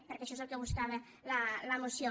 perquè això és el que buscava la moció